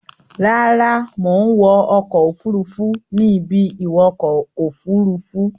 Rárá, mò ń wọ ọkọ̀-òfurufú ní ibi-ìwọkọ òfuruú.